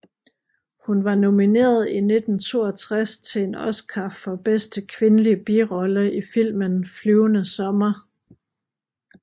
Hun var nomineret i 1962 til en Oscar for bedste kvindelige birolle i filmen Flyvende sommer